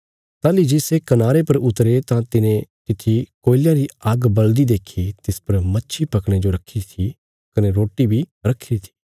ताहली जे सै कनारे पर उतरे तां तिने तित्थी कोयलयां री आग्ग बल़दी देखी तिस पर मच्छी पकणे जो रखीरी थी कने रोटी बी रखीरी थी